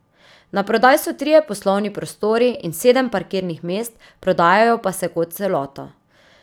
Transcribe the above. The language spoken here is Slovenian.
Naprodaj so trije poslovni prostori in sedem parkirnih mest, prodajajo pa se kot celota.